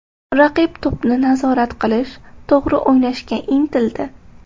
Raqib to‘pni nazorat qilish, to‘g‘ri o‘ynashga intildi.